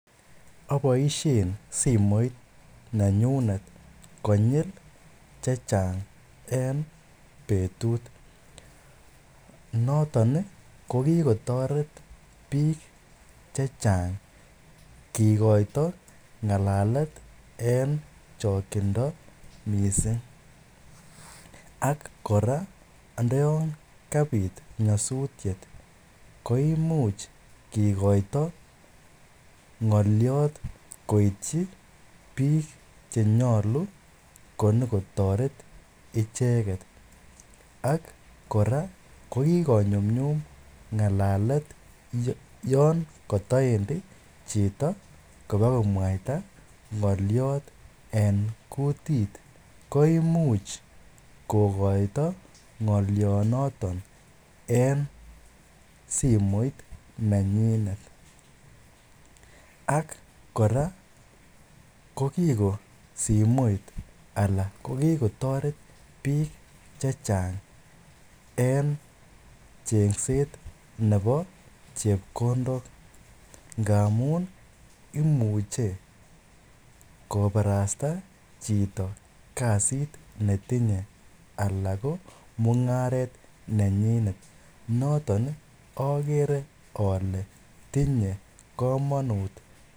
Aboishen simoit nenyunet konyil chechang en betut, noton ko kikotoret biik chechang kikoito ngalalet en chokyindo mising ak kora ndoyon kabit nyosutiet ko imuch kikoito ngoliot koityi biik chenyolu konyokotoret icheket, ak kora ko kikonyumnyum ngalalet yoon kotoendi chito kobakomwaita ngoliot en kutit ko imuch kokoito ngolionoton en simoit nenyinet ak kora ko kiko simoit alaa ko kikotoret biik chechang en chengset nebo chepkondok ngamun imuche kobarasta chito kasit netinye alaan ko mungaret nenyinet, noton okere olee tinye komonut.